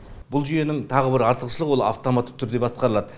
бұл жүйенің тағы бір артықшылығы ол автоматты түрде басқарылады